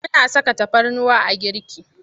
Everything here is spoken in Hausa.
Muna saka tafarnuwa a girki.